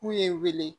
K'u ye wele